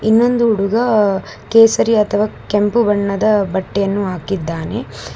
ಇನ್ನೊಂದು ಹುಡುಗ ಕೇಸರಿ ಅಥವಾ ಕೆಂಪು ಬಣ್ಣದ ಬಟ್ಟೆಯನ್ನು ಹಾಕಿದ್ದಾನೆ.